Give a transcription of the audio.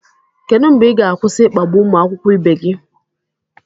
Kedụ mgbe ị ga-akwụsị ịkpagbu ụmụ akwụkwọ ibe gị